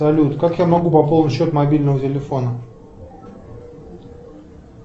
салют как я могу пополнить счет мобильного телефона